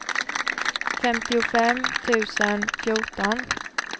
femtiofem tusen fjorton